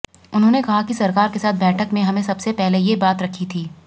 उन्होंने कहा कि सरकार के साथ बैठक में हमें सबसे पहले ये बात रखी थी